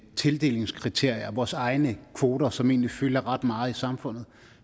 tildelingskriterier vores egne kvoter som egentlig fylder ret meget i samfundet